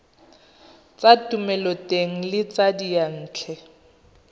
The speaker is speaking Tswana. tsa thomeloteng le tsa diyantle